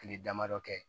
Kile damadɔ kɛ